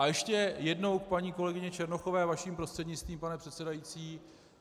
A ještě jednou k paní kolegyni Černochové, vaším prostřednictvím, pane předsedající.